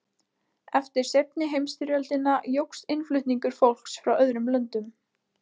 eftir seinni heimsstyrjöldina jókst innflutningur fólks frá öðrum löndum